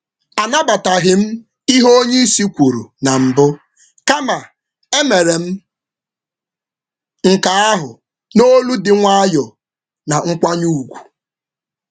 M jiri ụda na-enweghị mmasị na nkwanye ùgwù kwupụta ekweghị ekwe na atụmatụ mbụ oga.